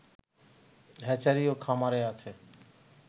hatchery ও খামার আছে